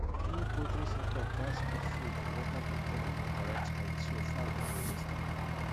any poultry setup gats put food and water container for correct height so fowl no go waste am